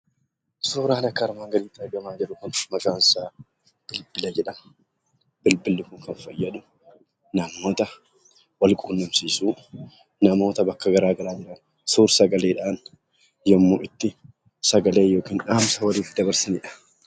Suuraan akka armaan gadiitti argamaa jiru kun maqaan isaa bilbila jedhama. Bilbilli kun kan fayyadu namoota walquunnamsiisuuf namoota bakka gara garaa jiran suur-sagaleetin yemmuu itti dhaamsa yookin sagalee itti dabarsaniidha.